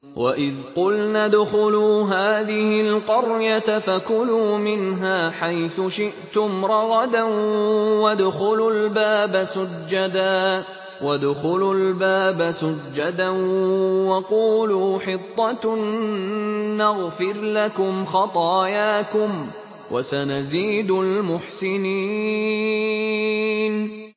وَإِذْ قُلْنَا ادْخُلُوا هَٰذِهِ الْقَرْيَةَ فَكُلُوا مِنْهَا حَيْثُ شِئْتُمْ رَغَدًا وَادْخُلُوا الْبَابَ سُجَّدًا وَقُولُوا حِطَّةٌ نَّغْفِرْ لَكُمْ خَطَايَاكُمْ ۚ وَسَنَزِيدُ الْمُحْسِنِينَ